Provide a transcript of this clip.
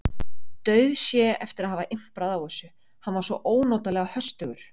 Dauðsá eftir að hafa imprað á þessu, hann var svo ónotalega höstugur.